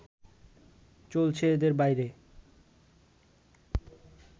চলছে এদের বাইরে